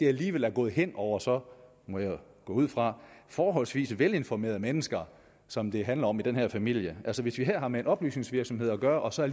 alligevel er gået hen over så må jeg gå ud fra forholdsvis velinformerede mennesker som det handler om i den her familie altså hvis vi her har med en oplysningsvirksomhed at gøre og så